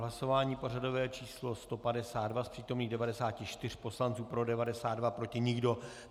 Hlasování pořadové číslo 152, z přítomných 94 poslanců pro 92, proti nikdo.